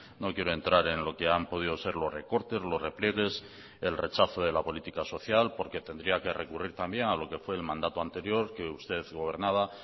no quiero entrar en lo que han podido ser los recortes los repliegues el rechazo de la política social porque tendría que recurrir también a lo que fue el mandato anterior que usted gobernaba